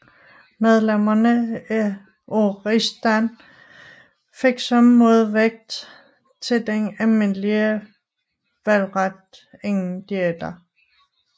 Medlemmerne af rigsdagen fik som modvægt til den almindelige valgret ingen diæter